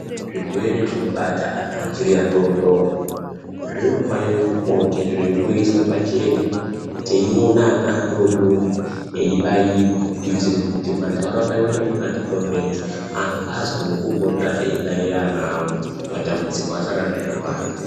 Zvirwere zvinobata ana achiri adodori, zvinofanira kupota zvichimboiswe pachena tiiona ana adododori eibayiwa kuitire kuti mantaraunda medu makatikomberedza, antu azwewo kupota eibaira ana awo matambudziko asati aramba eiwanda.